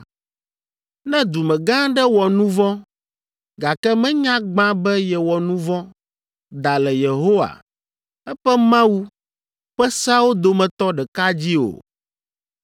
“ ‘Ne dumegã aɖe wɔ nu vɔ̃, gake menya gbã be yewɔ nu vɔ̃, da le Yehowa, eƒe Mawu, ƒe seawo dometɔ ɖeka dzi o,